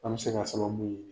An bɛ se ka sababu ye.